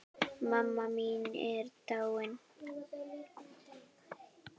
Mamma mín er dáin.